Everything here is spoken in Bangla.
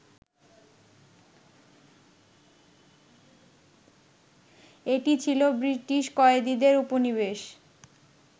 এটি ছিল ব্রিটিশ কয়েদীদের উপনিবেশ